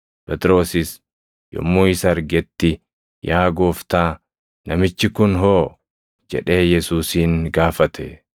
Phexrosis yommuu isa argetti, “Yaa Gooftaa, namichi kun hoo?” jedhee Yesuusin gaafate.